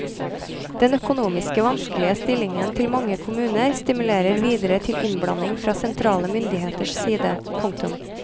Den økonomiske vanskelige stillingen til mange kommuner stimulerer videre til innblanding fra sentrale myndigheters side. punktum